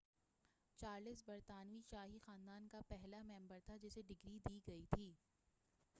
Charles برطانوی شاہی خاندان کا پہلا ممبر تھا جسے ڈگری دی گئی تھی